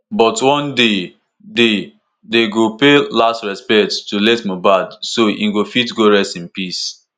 but one day day dem go pay last respect to late mohbad so e go fit go rest in peace.